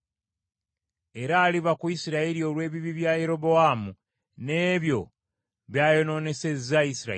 Era aliva ku Isirayiri olw’ebibi bya Yerobowaamu n’ebyo by’ayonoonesezza Isirayiri.”